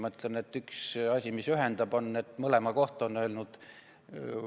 Ma ütlen, et üks asi, mis ühendab, on see, et mõlema kohta on öelnud ...